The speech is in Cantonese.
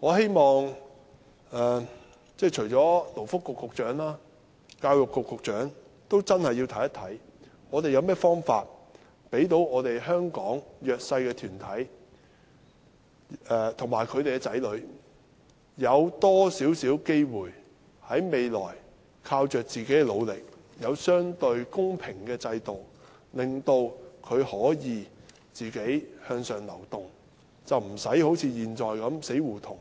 我希望除了勞工及福利局局長，教育局局長也真的會審視，政府有甚麼方法讓香港的弱勢社群和其子女在未來可以有更多機會，靠自己的努力，在相對公平的制度下，可自力向上流動，不會好像現在處於死胡同